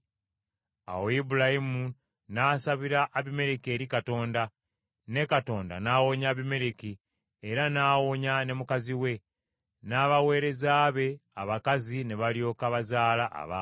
Awo Ibulayimu n’asabira Abimereki eri Katonda, ne Katonda n’awonya Abimereki era n’awonya ne mukazi we; n’abaweereza be abakazi ne balyoka bazaala abaana.